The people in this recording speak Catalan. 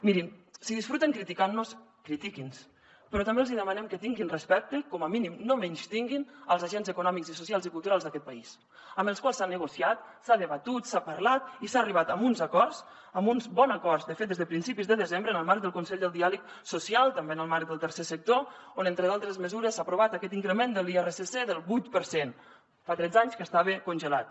mirin si disfruten criticantnos critiquinnos però també els hi demanem que tinguin respecte com a mínim no menystinguin els agents econòmics i socials i culturals d’aquest país amb els quals s’ha negociat s’ha debatut s’ha parlat i s’ha arribat a uns acords a uns bons acords de fet des de principis de desembre en el marc del consell del diàleg social també en el marc del tercer sector on entre d’altres mesures s’ha aprovat aquest increment de l’irsc del vuit per cent fa tretze anys que estava congelat